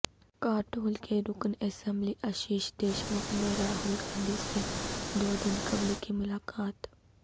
کاٹول کے رکن اسمبلی اشیش دیشمکھ نے راہل گاندھی سے دو دن قبل کی ملاقات